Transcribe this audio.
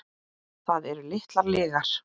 Það eru litlar lygar.